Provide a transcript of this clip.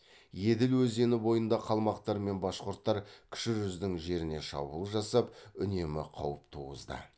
еділ өзені бойында қалмақтар мен башқұрттар кіші жүздің жеріне шабуыл жасап үнемі қауіп туғызды